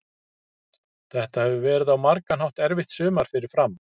Þetta hefur verið á margan hátt erfitt sumar fyrir Fram.